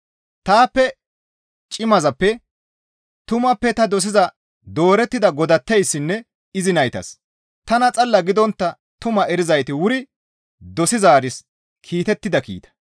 Taappe cimazappe, tumappe ta dosiza doorettida godatteyssinne izi naytas, tana xalla gidontta tumaa erizayti wuri dosizaaris kiitettida kiita.